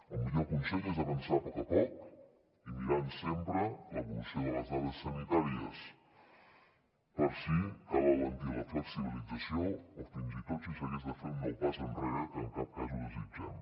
el millor consell és avançar a poc a poc i mirant sempre l’evolució de les dades sanitàries per si cal alentir la flexibilització o fins i tot si s’hagués de fer un nou pas enrere que en cap cas ho desitgem